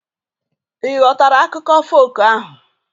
Ị ghọtara akụkọ folk ahu